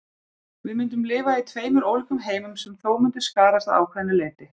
Við myndum lifa í tveimur ólíkum heimum sem þó myndu skarast að ákveðnu leyti.